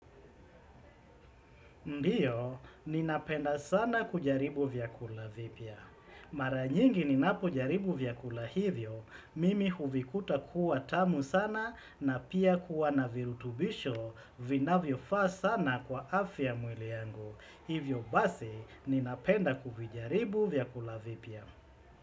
Ndiyo, ninapenda sana kujaribu vyakula vipya. Mara nyingi ninapojaribu vyakula hivyo, mimi huvikuta kuwa tamu sana na pia kuwa na virutubisho vinavyofaa sana kwa afya ya mwili yangu. Hivyo basi, ninapenda kuvijaribu vyakula vipya.